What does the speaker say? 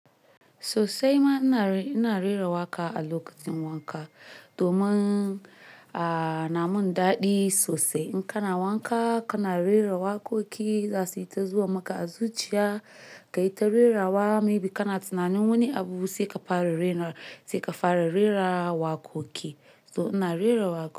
Sosai ma ina rera waƙa, alokacin wanka domin namun daɗi sosai. In kana wanka, kana rera waƙoƙi, zasuyi ta zuwa maka a zuciya. Kayi ta rerawa, maybe kana tunanin wani abu saika fara raira ka fara rera waƙoƙi. So ina rera waƙa.